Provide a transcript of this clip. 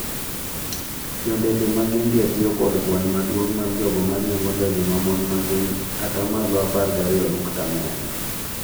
Jo ndege mag India tiyo kod kwan maduong’ mar jogo ma riembo ndege ma mon ma gin 12.4%.